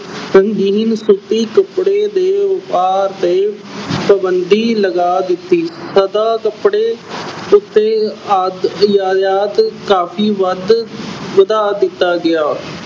ਰੰਗੀਨ ਸੂਤੀ ਕੱਪੜੇ ਦੇ ਵਪਾਰ ਤੇ ਪਾਬੰਦੀ ਲਗਾ ਦਿੱਤੀ, ਕੱਪੜੇ ਉੱਤੇ ਅਦ ਅਹ ਆਯਾਤ ਕਾਫ਼ੀ ਵੱਧ ਅਹ ਵਧਾ ਦਿੱਤਾ ਗਿਆ,